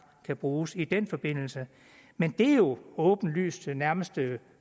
kan bruges i den forbindelse men det er jo åbenlyst nærmest